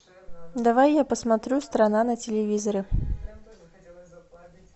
давай я посмотрю страна на телевизоре